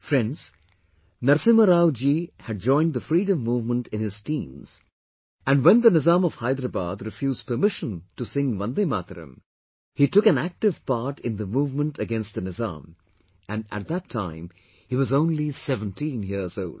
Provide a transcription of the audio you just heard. Friends, Narasimha Rao ji had joined the freedom movement in his teens and when the Nizam of Hyderabad refused permission to sing VandeMataram, he took an active part in the movement against the Nizam and at that time, he was only 17 years old